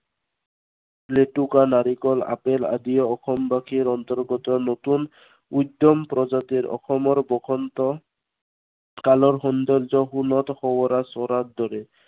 লেতুকা, নাৰিকল, আপেল আদিয়ে অসমবাসীৰ অন্তৰ্গত নতুন উত্তম প্ৰজাতিৰ অসমৰ বসন্ত কালৰ সৌন্দৰ্য সোণত সোৱগা চৰাৰ দৰে।